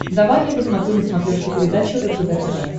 давай я посмотрю на смотрешке передачу ржд тв